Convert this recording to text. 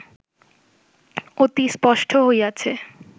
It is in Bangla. অতি স্পষ্ট হইয়াছে